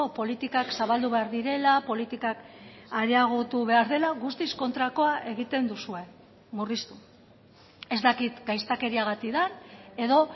politikak zabaldu behar direla politikak areagotu behar dela guztiz kontrakoa egiten duzue murriztu ez dakit gaiztakeriagatik den edo